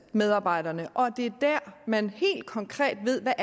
medarbejderne og at det er der man helt konkret ved hvad